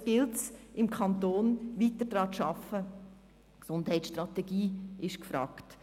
Jetzt gilt es, im Kanton weiter daran zu arbeiten.